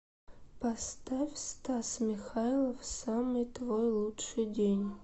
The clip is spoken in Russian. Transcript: поставь стас михайлов самый твой лучший день